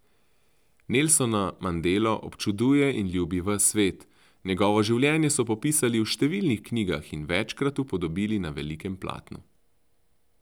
Nelsona Mandelo občuduje in ljubi ves svet, njegovo življenje so popisali v številnih knjigah in večkrat upodobili na velikem platnu.